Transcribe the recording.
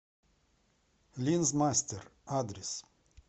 линзмастер адрес